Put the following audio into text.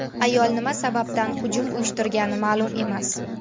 Ayol nima sababdan hujum uyushtirgani ma’lum emas.